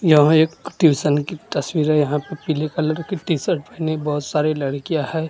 यहां एक ट्यूशन की तस्वीर है यहां पे पीले कलर की टी शर्ट पहनी बहोत सारी लड़कियां है।